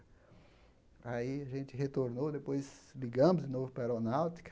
Aí, a gente retornou, depois ligamos de novo para a Aeronáutica,